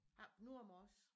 Oppe Nordmors